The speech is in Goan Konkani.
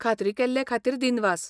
खात्री केल्ले खातीर दिनवास.